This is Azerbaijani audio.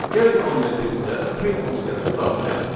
Gəlin kommentimizə print funksiyasını daxil edək.